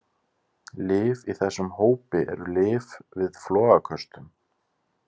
Lyf í þessum hópi eru lyf við flogaköstum.